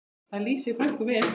Það lýsir frænku vel.